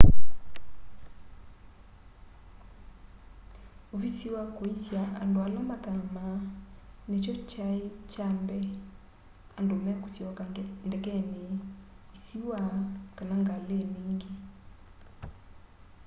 uvisi wa kũisya andũ ala mathamaa nĩkyo kyaĩ kya mbee andũ mekusyoka ndekenĩ isiwa kana ngalĩnĩ ingi